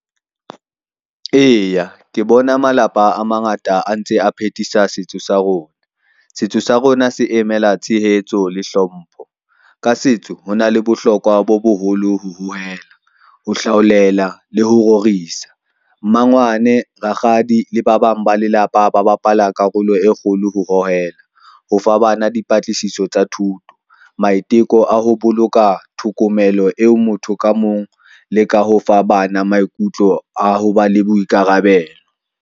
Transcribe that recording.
Eya, ke bona malapa a mangata a ntse a phethisa setso sa rona. Setso sa rona se emela tshehetso le hlompho. Ka setso ho na le bohlokwa bo boholo ho hohela, o hlaolela le ho rorisa. Mmangwane, rakgadi le ba bang ba lelapa, ba bapala karolo e kgolo ho hohela ho fa bana di patlisiso tsa thuto, maiteko a ho boloka thokomelo eo motho ka mong le ka ho fa bana maikutlo a ho ba le boikarabelo.